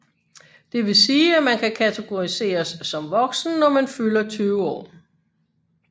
Det vil sige at man kan kategoriseres som voksen når man fylder 20 år